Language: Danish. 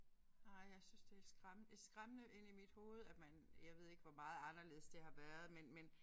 Nej jeg synes det skræm det skræmmende inde i mit hoved at man jeg ved ikke hvor meget anderledes det har været men men